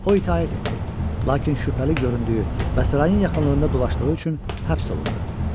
O itaət etdi, lakin şübhəli göründüyü və sarayın yaxınlığında dolaşdığı üçün həbs olundu.